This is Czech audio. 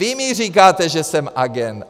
Vy mi říkáte, že jsem agent.